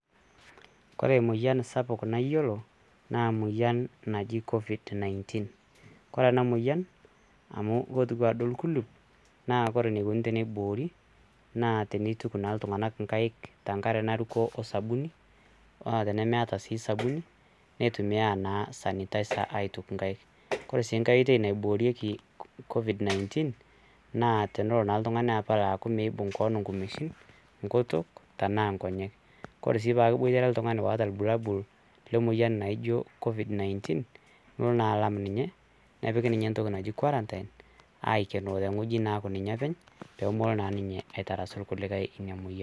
Ore emoyian sapuk nayiolo naa emoyian naji COVID 19 . Ore ena moyian naa ore enukoni teniboori naa tenituku naa iltunganak inkaik tenkare naruko osabuni . Naa tenemeeta naa sabuni neitumia naa sanitizer naa aitukie inkaik. Ore sii enkae oitoi naiboorieki COVID 19 naa tenelo naa oltungani apal metaa meibung kewon inkumeishin ,ngutuk ,tenaa nkonyek . Kore sii tenaa keboitare oltungani loota irbulabul lemoyian naijo COVID 19 nilo naa alam ninye ,nepiki ninye entoki naji quarantine aikenoo tewueji aaku ninye openy